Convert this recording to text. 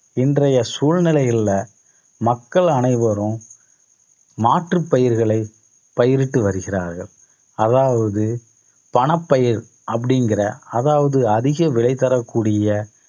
இன்றைய சூழ்நிலைகள்ல மக்கள் அனைவரும் மாற்றுப் பயிர்களை பயிரிட்டு வருகிறார்கள் அதாவது பணப்பயிர் அப்படிங்கிற அதாவது அதிக விலை தரக்கூடிய